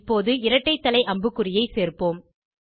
இப்போது இரட்டை தலை அம்புக்குறியை சேர்ப்போம்